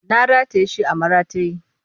Na rataye shi a maratayi